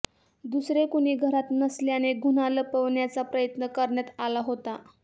दुसरे कुणी घरात नसल्याने गुन्हा लपवण्याचा प्रयत्न करण्यात आला होता